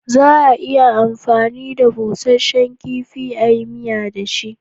Za a iya amfani da busashen kifi a yi miya da shi